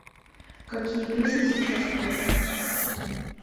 какие песни сейчас в топе